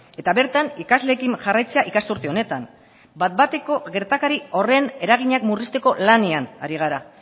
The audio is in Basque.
eta bertan ikasleekin jarraitzea ikasturte honetan bat bateko gertakari horren eraginak murrizteko lanean ari gara